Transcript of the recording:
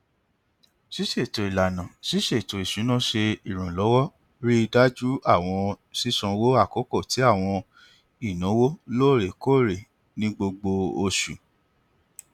ṣiṣeto ilana ṣiṣe eto isuna ṣe iranlọwọ rii daju awọn sisanwo akoko ti awọn inawo loorekoore ni gbogbo oṣu